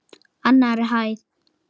Annarri hæð.